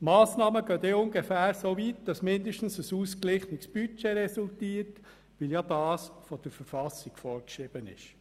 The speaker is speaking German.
Die Massnahmen gehen dann soweit, dass zumindest ein ausgeglichenes Budget resultiert, wie es von der Verfassung vorgeschrieben ist.